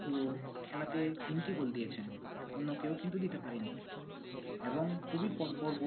পুরো খেলাতে তিনটি গোল দিয়েছেন, অন্য কেউ কিন্তু দিতে পারেনি। এবং খুবই পরপর